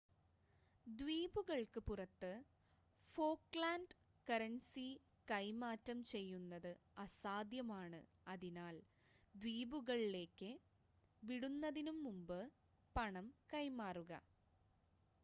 ദ്വീപുകൾക്ക് പുറത്ത് Falkland currency കൈമാറ്റം ചെയ്യുന്നത് അസാധ്യമാണ് അതിനാൽ ദ്വീപുകൾലെക് വിടുന്നതിനുമുമ്പ് പണം കൈമാറുക